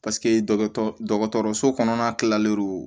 Paseke dɔgɔtɔrɔso kɔnɔna kilalen don